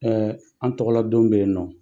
an' tɔgɔla don bɛ yennɔ.